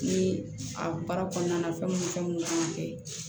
Ni a baara kɔnɔna na fɛn mun fɛn mun kan ka kɛ